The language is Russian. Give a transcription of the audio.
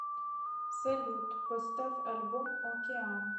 салют поставь альбом океан